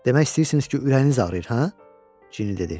Demək istəyirsiniz ki, ürəyiniz ağrıyır, hə? Cini dedi.